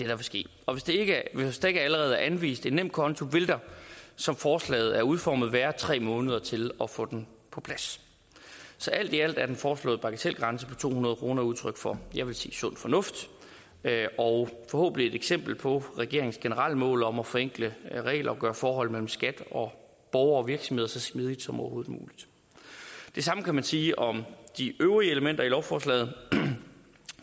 vil ske og hvis der ikke allerede er anvist en nemkonto vil der som forslaget er udformet være tre måneder til at få den på plads så alt i alt er den foreslåede bagatelgrænse på to hundrede kroner udtryk for jeg vil sige sund fornuft og forhåbentlig et eksempel på regeringens generelle mål om at forenkle regler og gøre forhold mellem skat og borgere og virksomheder så smidige som overhovedet muligt det samme kan man sige om de øvrige elementer i lovforslaget